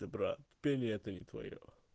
ты прав пение это не твоё